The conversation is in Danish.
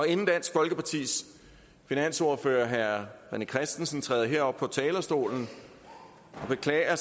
inden dansk folkepartis finansordfører herre rené christensen træder herop på talerstolen og beklager